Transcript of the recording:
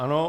Ano.